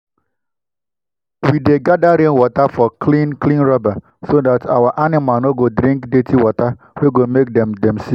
we dey gather rainwater for clean clean rubber so dat our animal no go drink dirty water wey go make make dem sick